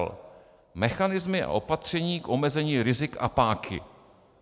l) mechanismy a opatření k omezení rizik a páky,